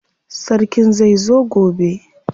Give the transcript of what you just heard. Sarkin zai zo gobe.